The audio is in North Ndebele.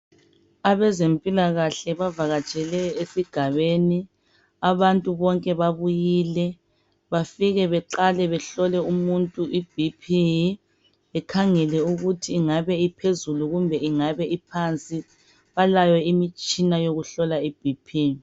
Abezempilakahle bavakatshele esigabeni abantu bonke babuyile. Bafike beqale behlole umuntu iBP bekhangele ukuthi ingabe iphezulu kumbe ingabe iphansi. Labayo imitshina yokuhlola iBP.